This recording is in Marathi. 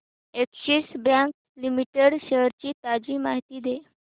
अॅक्सिस बँक लिमिटेड शेअर्स ची ताजी माहिती दे